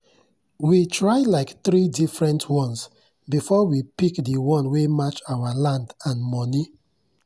we try like three different ones before we pick the one wey match our land and money.